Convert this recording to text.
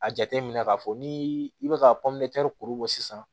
A jateminɛ k'a fɔ ni i bɛ ka kuru bɔ sisan